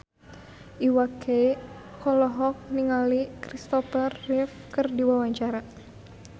Iwa K olohok ningali Kristopher Reeve keur diwawancara